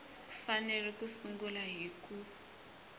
fanele ku sungula hi ku